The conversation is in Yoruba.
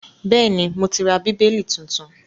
Bẹ́ẹ̀ni, mo ti ra Bíbélì tuntun